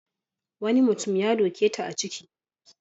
Wani mutum ya doke ta a ciki.